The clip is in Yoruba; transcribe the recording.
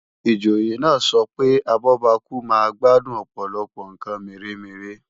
Ìjòyè náà sọ pé abọ́bakú máa gbádùn Ọ̀pọ̀lọpọ̀ ǹkan mèremère